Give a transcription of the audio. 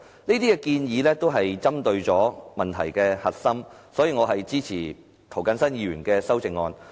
這些建議都是針對問題的核心，所以我支持涂謹申議員的修正案。